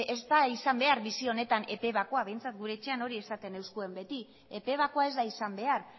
ez da izan behar bizi honetan epe bakoa behintzat gure etxean hori esaten ziguten beti epe bakoa ez da izan behar